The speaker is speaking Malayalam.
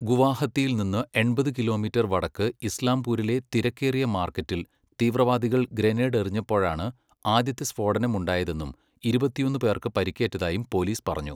ഗുവാഹത്തിയിൽ നിന്ന് എൺപത് കിലോമീറ്റർ വടക്ക് ഇസ്ലാംപൂരിലെ തിരക്കേറിയ മാർക്കറ്റിൽ തീവ്രവാദികൾ ഗ്രനേഡ് എറിഞ്ഞപ്പോഴാണ് ആദ്യത്തെ സ്ഫോടനം ഉണ്ടായതെന്നും ഇരുപത്തൊന്ന് പേർക്ക് പരിക്കേറ്റതായും പോലീസ് പറഞ്ഞു.